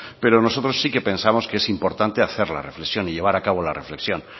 pero nosotros sí que pensamos que es importante hacer la reflexión y llevar a cabo la reflexión